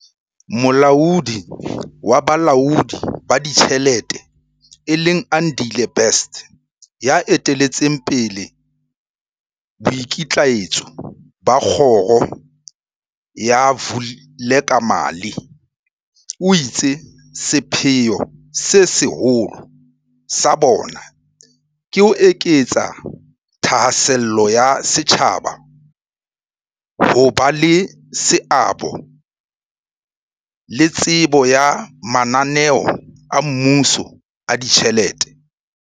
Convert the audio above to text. Molaodi wa Bolaodi ba Ditjhelete e leng Andile Best, ya eteletseng pele boikitlaetso ba kgoro ya Vulekamali, o itse sepheo se seholo sa bona ke ho eketsa thahasello ya setjhaba, ho ba le seabo le tsebo ya mana neo a mmuso a ditjhelete.